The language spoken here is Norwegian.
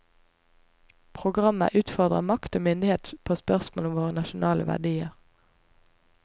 Programmet utfordrer makt og myndighet på spørsmål om våre nasjonale verdier.